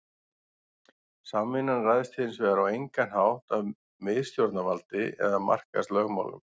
Samvinnan ræðst hins vegar á engan hátt af miðstjórnarvaldi eða markaðslögmálum.